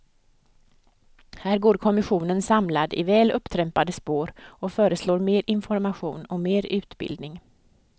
Här går kommissionen samlad i väl upptrampade spår och föreslår mer information och mer utbildning.